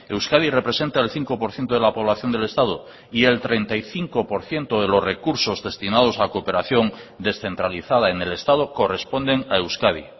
euskadi representa el cinco por ciento de la población del estado y el treinta y cinco por ciento de los recursos destinados a cooperación descentralizada en el estado corresponden a euskadi